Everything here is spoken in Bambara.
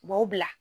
U b'aw bila